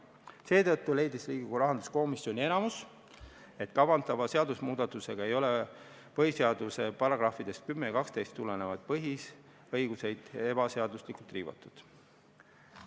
Seetõttu leidis Riigikogu rahanduskomisjoni enamik, et kavandatava seadusemuudatusega ei ole põhiseaduse §-dest 10 ja 12 tulenevaid põhiõigusi ebaseaduslikult riivatud.